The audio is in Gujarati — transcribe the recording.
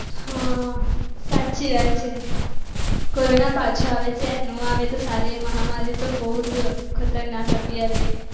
હા સાચી વાત છે. કોરોના પાછો આવે છે નો આવે તો સારી મહામારી તો બહુ જ ખતરનાક હતી રે